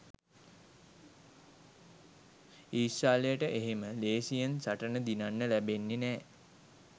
ඊශ්‍රායලයට එහෙම ලේසියෙන් සටන දිනන්න ලැබෙන්නේ නෑ